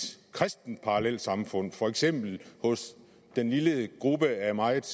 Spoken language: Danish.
kristent parallelsamfund for eksempel hos den lille gruppe af meget